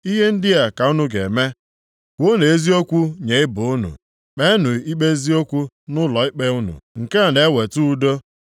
Ihe ndị a ka unu ga-eme: Kwuonụ eziokwu nye ibe unu, kpeenụ ikpe eziokwu nʼụlọikpe unu, nke a na-eweta udo.